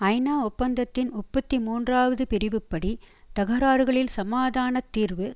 ஐநா ஒப்பந்தத்தின் முப்பத்தி மூன்றாவது பிரிவுப்படி தகராறுகளில் சமாதான தீர்வு